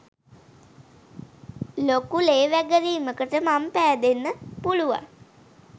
ලොකු ලේ වැගිරීමකට මං පෑදෙන්න පුළුවන්